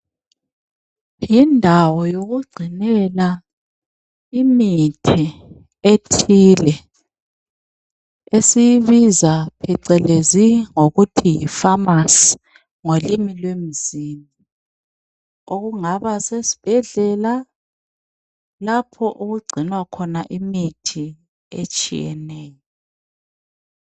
Yindawo yokucinela imithi ethile ebizwa icelezi ngokuthi yi pharmacy ngolimi lemzini okungaba sesibhedlela lapho okucinwa khona imithi etshiyeneyo